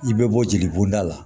I bɛ bɔ jeli bɔnda la